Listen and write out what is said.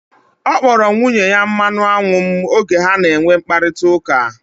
Ọ kpọrọ nwunye ya mmanụ anwụ m oge ha na enwe mkparịta ụka